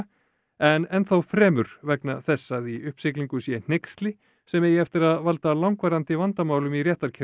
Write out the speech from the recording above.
en enn þá fremur vegna þess að í uppsiglingu sé hneyksli sem eigi eftir að valda langvarandi vandamálum í